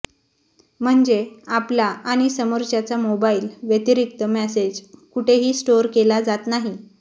म्हणजे आपला आणि समोरच्याचा मोबाईल व्यतिरिक्त मेसेज कुठेही स्टोर केला जात नाही